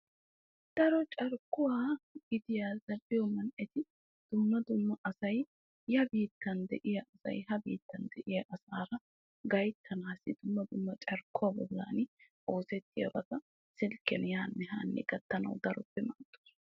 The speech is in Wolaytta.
Daro carkkuwa gitiya zal'iyo asay hara biittan asay dumma dumma biittan de'iya asaara zal'iya poliyo zamaana zal'iya.